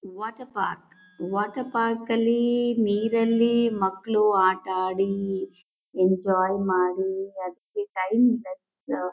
Water park . Water park ಅಲ್ಲಿ ನೀರಲ್ಲಿ ಮಕ್ಳು ಆಟಾಡಿ ಎಂಜಾಯ್ ಮಾಡಿ ಅದಕ್ಕೆ ಟೈಮ್ ಎಷ್ಟ್--